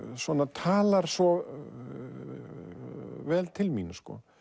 talar svo vel til mín